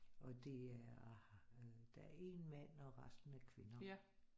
Og det er øh der er en mand og resten er kvinder